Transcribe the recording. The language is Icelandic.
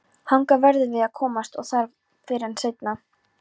Þangað verðum við að komast og það fyrr en seinna.